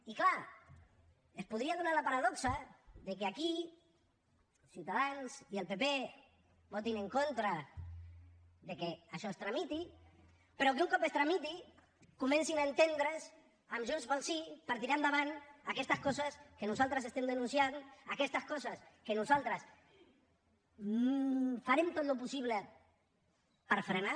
i clar es podria donar la paradoxa que aquí ciutadans i el pp votin en contra que això es tramiti però que un cop es tramiti comencin a entendre’s amb junts pel sí per tirar endavant aquestes coses que nosaltres estem denunciant aquestes coses que nosaltres farem tot el possible per frenar